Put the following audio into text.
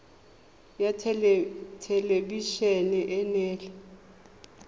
ya thelebi ene e neela